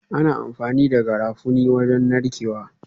Ana amfani da Garafuni wajen narkewa